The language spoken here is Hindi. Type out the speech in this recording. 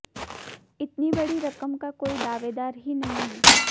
इतनी बड़ी रकम का कोई दावेदार ही नहीं है